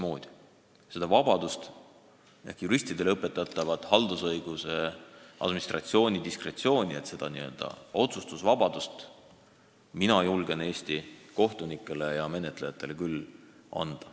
Seda otsustusvabadust ehk juristidele õpetatavat haldusõiguse administratsiooni diskretsiooniõigust mina julgen Eesti kohtunikele ja menetlejatele küll anda.